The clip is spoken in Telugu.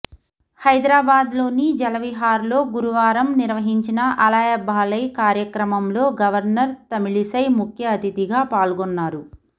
హైదరాబాద్లోని జలవిహార్లో గురువారం నిర్వహించిన అలాయ్బలాయ్ కార్యక్రమంలో గవర్నర్ తమిళిసై ముఖ్య అతిథిగా పాల్గొన్నారు